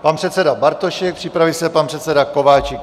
Pan předseda Bartošek, Připraví se pan předseda Kováčik.